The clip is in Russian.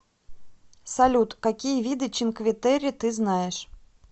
салют какие виды чинкветерре ты знаешь